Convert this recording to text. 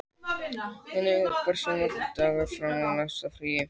Henrika, hversu margir dagar fram að næsta fríi?